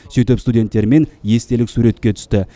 сөйтіп студенттермен естелік суретке түсті